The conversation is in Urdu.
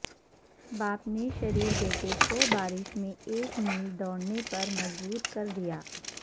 باپ نے شریر بیٹے کو بارش میں ایک میل دوڑنے پر مجبور کر دیا